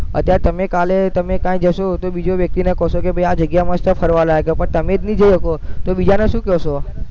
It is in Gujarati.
અત્યારે તમે કાલે તમે ક્યાંક જશો તો બીજી વ્યક્તિને કહેશો કે ભૈ આ જગ્યા મસ્ત ફરવાલાયક છે પણ તમે જ નહીં જઈ શકો તો બીજાને શું કહેશો